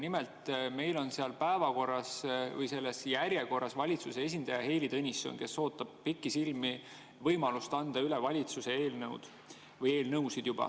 Nimelt, meil on järjekorras valitsuse esindaja Heili Tõnisson, kes ootab pikisilmi võimalust anda üle valitsuse eelnõu või eelnõusid.